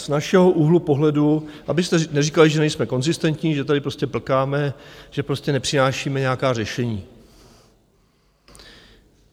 Z našeho úhlu pohledu, abyste neříkali, že nejsme konzistentní, že tady prostě plkáme, že prostě nepřinášíme nějaká řešení.